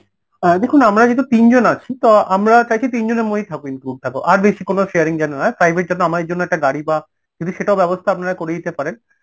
হ্যাঁ দেখুন আমরা যেহেতু তিনজন আছি তো আমরা চাইছি তিনজনের মধ্যেই থাকুক এই group টা আর বেশি কোনো sharing যেন না private যেন আমাদের জন্য একটা গাড়ি বা সেটাও ব্যবস্থা আপনারা করে দিতে পারেন